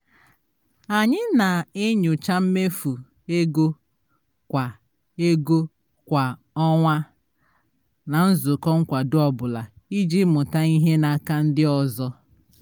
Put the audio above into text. anyị na-enyocha mmefu ego kwa ego kwa ọnwa na nzukọ nkwado ọ bụla iji mụta ihe n'aka ndị ọzọ